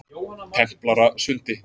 Templarasundi